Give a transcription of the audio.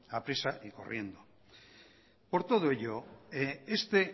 a prisa y corriendo por todo ello este